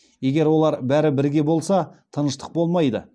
егер олар бәрі бірге болса тыныштық болмайды